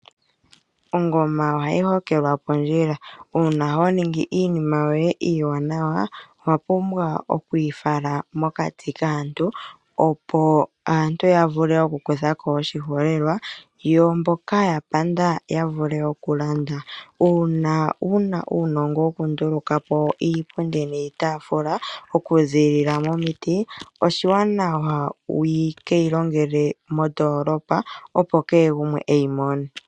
Ongoma ohayi hokelwa oondjila, uuna honingi iinima yoye iiwanawa owa pumbwa okwiifala mokati kaantu opo aantu ya vule oku kutha ko oshiholelwa, yo mboka ya panda yo ya vule woo okulanda. Uuna wuna uunongo wokunduluka po iipundi niitaafula oku ziilila momiti oshiwanawa wu keyi longele moondoolopa opo keegumwe iye mone.